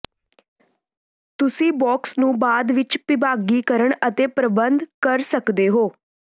ਤੁਸੀਂ ਬੌਕਸ ਨੂੰ ਬਾਅਦ ਵਿੱਚ ਵਿਭਾਗੀਕਰਨ ਅਤੇ ਪ੍ਰਬੰਧ ਕਰ ਸਕਦੇ ਹੋ